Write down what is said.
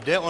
Jde o